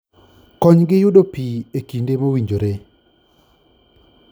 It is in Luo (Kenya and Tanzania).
Konygi yudo pi e kinde mowinjore